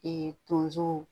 tonzo